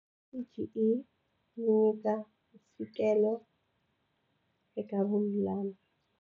CGE yi nyika mfikelelo eka vululami.